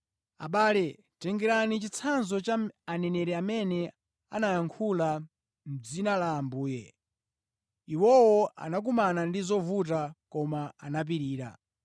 Abale, tengerani chitsanzo cha aneneri amene anayankhula mʼdzina la Ambuye. Iwowo anakumana ndi zovuta koma anapirira.